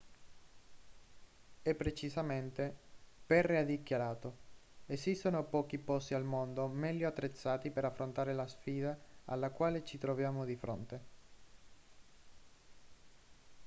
e precisamente perry ha dichiarato esistono pochi posti al mondo meglio attrezzati per affrontare la sfida alla quale ci troviamo di fronte